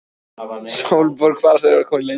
Sólborg fararstjóri var komin í leitirnar.